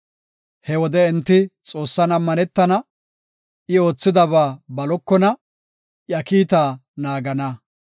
He wode enti Xoossan ammanetena; I oothidaba balokona; iya kiitaa naagana.